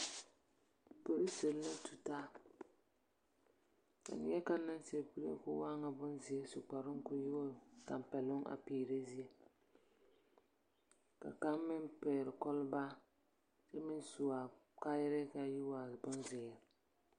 Polisir la tutaa, ka neԑkaŋ meŋ seԑ kuree koo waa ŋa bonzeԑ, su kparoŋ koo meŋ waa ŋa tampԑloŋ a peerԑ zie, ka kaŋa meŋ pԑgele kͻlebaa kyԑ me su a kayarԑԑ ka a meŋ yi ŋa bonzeere.